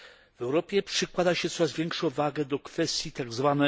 W Europie przykłada się coraz większą wagę do kwestii tzw.